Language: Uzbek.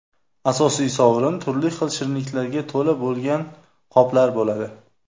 Asosiy sovrin turli xil shirinliklarga to‘la bo‘lgan qoplar bo‘ladi.